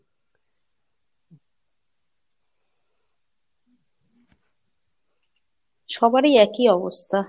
সবারই একই অবস্থা।